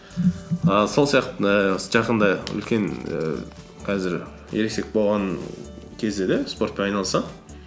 ііі сол ііі жақында үлкен ііі қазір ересек болған кезде де спортпен айналысамын